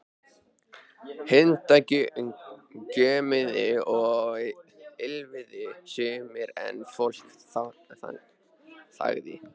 Hundar gjömmuðu og ýlfruðu sumir en fólk þagði.